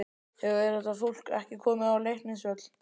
Hefur þetta fólk ekki komið á Leiknisvöll?